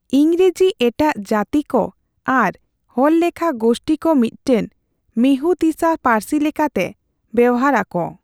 ᱤᱝᱨᱮᱡᱤ ᱮᱴᱟᱜ ᱡᱟᱹᱛᱤ ᱠᱚ ᱟᱨ ᱦᱚᱲ ᱞᱮᱠᱷᱟ ᱜᱳᱥᱴᱤᱠᱚ ᱢᱤᱫᱴᱟᱝ ᱢᱤᱦᱩᱛᱤᱥᱟ ᱯᱟᱹᱨᱥᱤ ᱞᱮᱠᱟᱛᱮ ᱵᱮᱣᱦᱟᱨ ᱟᱠᱚ ᱾